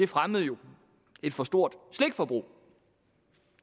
fremmede et for stort slikforbrug